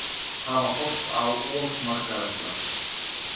Hafa horft á of marga vestra